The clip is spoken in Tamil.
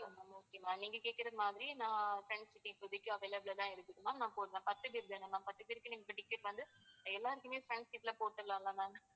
okay ma'am நீங்க கேக்குறமாதிரி நா front seat இப்போதைக்கு available ல தான் இருக்குது ma'am நான் போடுறேன். பத்து பேரு தானே ma'am பத்து பேருக்கும் இப்போ ticket வந்து எல்லாருக்குமே front seat ல போட்டுறலாம்ல ma'am